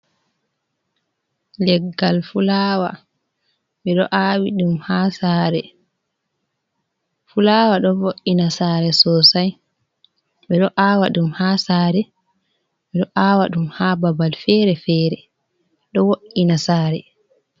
Leggal fulawa ɗo vo’ina sare sosai ɓe ɗo aawa ɗum ha sare ɓe ɗo aawa ɗum ha babal fere-fere ɗo wo’’ina sare.